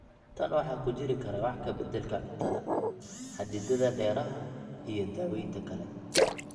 Tan waxa ku jiri kara wax ka beddelka cuntada, xaddididda dareeraha, iyo daawaynta kale.